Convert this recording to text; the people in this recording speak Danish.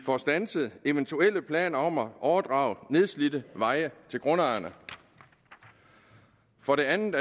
få standset eventuelle planer om at overdrage nedslidte veje til grundejerne og for det andet